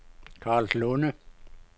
Karlslunde